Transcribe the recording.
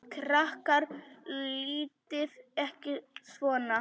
Krakkar látiði ekki svona!